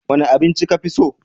Wane abinci ka fi so?